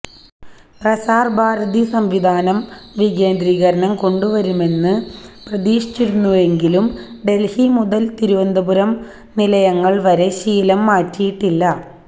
പ്രസാര് ഭാരതി സംവിധാനം വികേന്ദ്രീകരണം കൊണ്ടുവരുമെന്ന് പ്രതീക്ഷിച്ചിരുന്നെങ്കിലും ദല്ഹി മുതല് തിരുവനന്തപുരം നിലയങ്ങള് വരെ ശീലം മാറ്റിയിട്ടില്ല